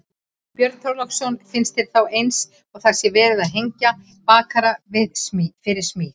Björn Þorláksson: Finnst þér þá eins og það sé verið að hengja bakara fyrir smið?